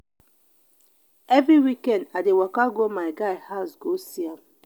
every weekend i dey waka go my guy house go see am